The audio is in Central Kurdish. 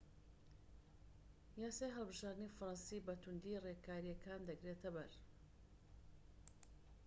یاسای هەڵبژاردنی فەرەنسی بە توندی ڕێکاریەکان دەگرێتە بەر